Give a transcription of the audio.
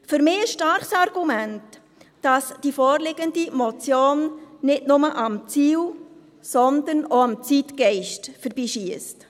Für mich ein starkes Argument, dass die vorliegende Motion nicht nur am Ziel, sondern auch am Zeitgeist vorbeischiesst.